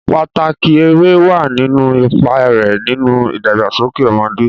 Pàtàkì eré wà nínú ipa rẹ̀ nínú ìdàgbàsókè ọmọdé.